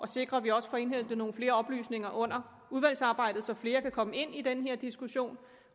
sikre at vi også får indhentet nogle flere oplysninger under udvalgsarbejdet så flere kan komme med ind i den her diskussion